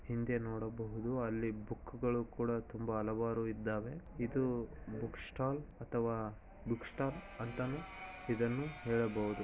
ಹಿಂದೆ ನೋಡಬಹುದು ಅಲ್ಲಿ ಬುಕ್ ಗಳು ಕೂಡ ತುಂಬಾ ಹಲವಾರು ಇದ್ದಾವೆ. ಇದು ಬುಕ್ ಸ್ಟಾಲ್ ಅಥವಾ ಬುಕ್ ಶಾಪ್ ಅಂತಾನು ಇದನ್ನು ಹೇಳಬಹುದು.